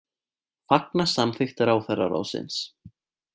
Fagna samþykkt ráðherraráðsins